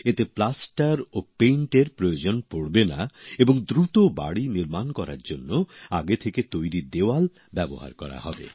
এতে প্লাস্টার ও রঙের প্রয়োজন পড়বে না এবং দ্রুত বাড়ি নির্মাণ করার জন্য আগের থেকে তৈরি দেওয়াল ব্যবহার করা হবে